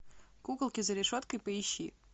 куколки за решеткой поищи